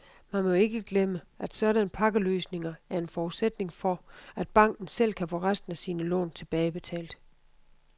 Man må jo ikke glemme, at sådanne pakkeløsninger er en forudsætning for, at banken selv kan få resten af sine lån tilbagebetalt.